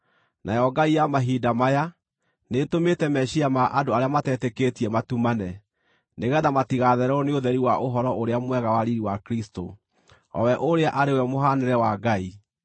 Nayo ngai ya mahinda maya, nĩtũmĩte meciiria ma andũ arĩa matetĩkĩtie matumane, nĩgeetha matigathererwo nĩ ũtheri wa Ũhoro-ũrĩa-Mwega wa riiri wa Kristũ, o we ũrĩa arĩ we mũhaanĩre wa Ngai.